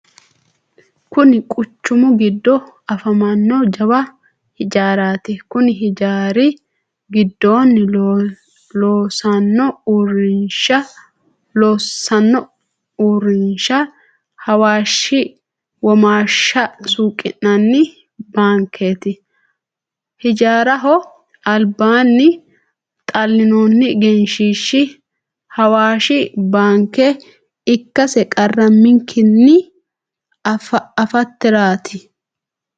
Kunni quchumu gido afamano jawa hijaaraati. Konni hijaari gidoonni loosano uurinsha hawaashi womaasha suuqi'nanni baankeeti. Hijaaraho albaanni xalinoonni egenshiishi hawaashi baanke ikasese qaramikinni afaterti.